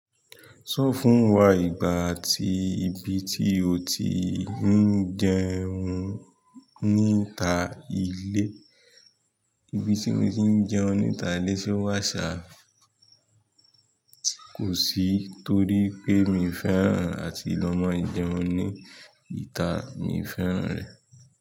Sọ fún wa ìgbà ti ibi tí o ti ń jẹun níta ilé. Ibi tí mo ti ń jẹ́un níta ìle se o wà ṣá kò sí torí pé mi fẹ́ràn àti lọmọ jẹun ní ìta mi fẹ́ràn rẹ̀.